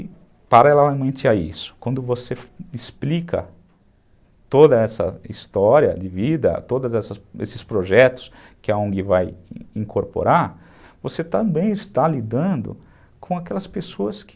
E paralelamente a isso, quando você explica toda essa história de vida, todos esses projetos que a ongui vai incorporar, você também está lidando com aquelas pessoas que